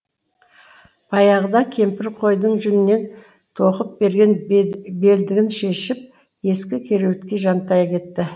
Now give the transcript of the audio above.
баяғыда кемпірі қойдың жүнінен тоқып берген белдігін шешіп ескі кереуетке жантая кетті